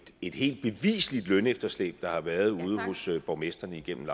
et helt beviseligt lønefterslæb der har været ude hos borgmestrene igennem